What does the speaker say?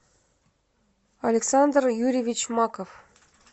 александр юрьевич маков